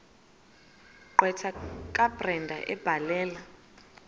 gqwetha kabrenda ebhalela